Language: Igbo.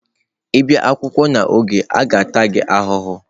Ị bịa akwụkwọ n'oge echi, a ga-ata gị ahụhụ.